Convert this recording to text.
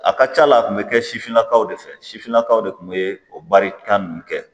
A ka ca la a kun bɛ kɛ sifinnakaw de fɛ sifinnakaw de tun bɛ o barita ninnu kɛ